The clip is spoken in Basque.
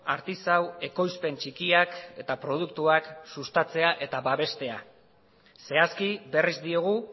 artisau ekoizpen txikiak eta produktuak sustatzea eta babestea zehazki berriz diogu